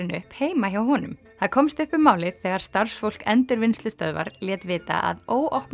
upp heima hjá honum upp komst um málið þegar starfsfólk endurvinnslustöðvar lét vita að